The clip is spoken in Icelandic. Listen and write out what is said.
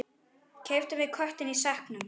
Keyptum við köttinn í sekknum?